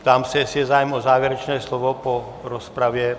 Ptám se, jestli je zájem o závěrečné slovo po rozpravě.